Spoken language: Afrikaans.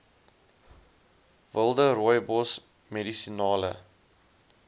wilde rooibos medisinale